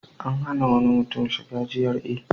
An hana wani mutum shiga GRA.